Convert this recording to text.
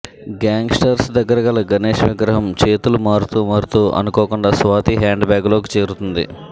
gang స్టర్స్ దగ్గర గల గణేష్ విగ్రహం చేతులు మారుతూ మారుతూ అనుకోకుండా స్వాతి హ్యాండ్ బ్యాగ్ లోకి చేరుతుంది